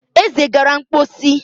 Eze gara mposi